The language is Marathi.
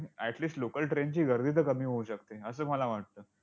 at least local train ची गर्दी तर कमी होऊ शकते, असं मला वाटतं.